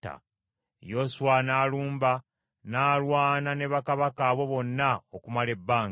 Yoswa n’alumba n’alwana ne bakabaka abo bonna okumala ebbanga.